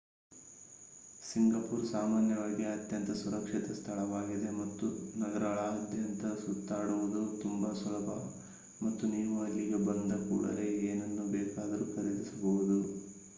Singapore ಸಾಮಾನ್ಯವಾಗಿ ಅತ್ಯಂತ ಸುರಕ್ಷಿತ ಸ್ಥಳವಾಗಿದೆ ಮತ್ತು ನಗರಗಳಾದ್ಯಂತ ಸುತ್ತಾಡುವುದು ತುಂಬಾ ಸುಲಭ ಮತ್ತು ನೀವು ಅಲ್ಲಿಗೆ ಬಂದ ಕೂಡಲೇ ಏನನ್ನು ಬೇಕಾದರೂ ಖರೀದಿಸಬಹುದು